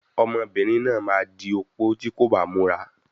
Ọmọbìnrin náà máa di opó tí kò bá múra.